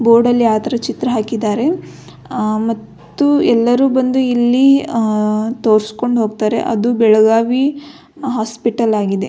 ಬೋರ್ಡಲ್ಲಿ ಆತರ ಚಿತ್ರ ಹಾಕಿದ್ದಾರೆ ಮತ್ತು ಎಲ್ಲರು ಬಂದು ಇಲ್ಲಿ ತೋರ್ಸ್ಕೊಂಡು ಹೋಗ್ತಾರೆ ಅದು ಬೆಳಗಾವಿ ಹಾಸ್ಪಿಟಲ್ ಆಗಿದೆ.